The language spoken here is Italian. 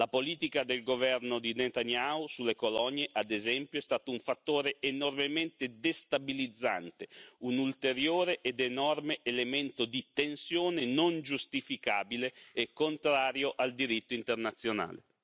La politica del governo di Netanyahu sulle colonie, ad esempio, è stato un fattore enormemente destabilizzante, un ulteriore ed enorme elemento di tensione non giustificabile e contrario al diritto internazionale.